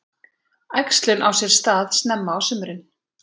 Æxlun á sér stað snemma á sumrin.